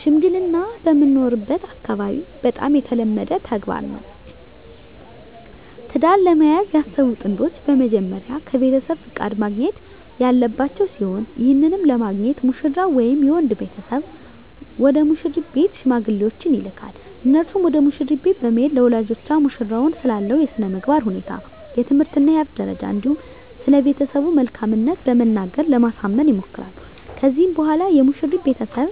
ሽምግልና በምኖርበት አካባቢ በጣም የተለመደ ተግባር ነው። ትዳር ለመያዝ ያሰቡ ጥንዶች በመጀመሪያ ከቤተሰብ ፍቃድ ማግኘት ያለባቸው ሲሆን ይህንንም ለማግኘት ሙሽራው ወይም የወንድ ቤተሰብ ወደ ሙሽሪት ቤት ሽማግሌዎችን ይልካል። እነርሱም ወደ መሽሪት ቤት በመሄድ ለወላጆቿ ሙሽራው ስላለው የስነምግባር ሁኔታ፣ የትምህርት እና የሀብት ደረጃ እንዲሁም ስለቤተሰቡ መልካምት በመናገር ለማሳመን ይሞክራሉ። ከዚህም በኋላ የሙሽሪት ቤተሰብ